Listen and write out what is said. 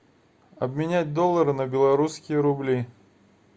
обменять доллары на белорусские рубли